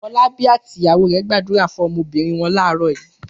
Fọlábí àti ìyàwó rẹ̀ gbàdúrà fún ọmọbìnrin wọn láàárọ̀ yìí.